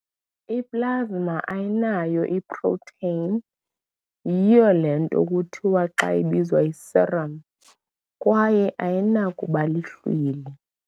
I-Plasma ayinayo iproteni ] yiyo le nto kuthiwa xa ibizwa yi-serum kwaye ayinakubalihlwili.